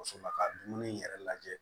So la ka dumuni yɛrɛ lajɛ